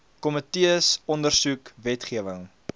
komitees ondersoek wetgewing